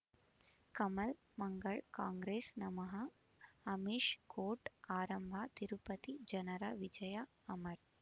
ಕಮಲ್ ಮಂಗಳ್ ಕಾಂಗ್ರೆಸ್ ನಮಃ ಅಮಿಷ್ ಕೋರ್ಟ್ ಆರಂಭ ತಿರುಪತಿ ಜನರ ವಿಜಯ ಅಮರ್